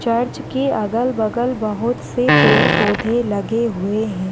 Church के अगल-बगल बहुत से पेड़-पौधे लगे हुए है।